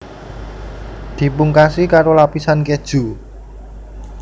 Dipungkasi karoo lapisan keju